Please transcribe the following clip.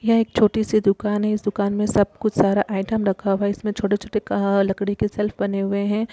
यह एक छोटी सी दुकान है इस दुकान में सब कुछ सारा आइटम रखा हुआ है इसमें छोटे-छोटे क लकड़ी के शेल्फ बने हुए है।